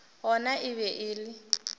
gona e be e le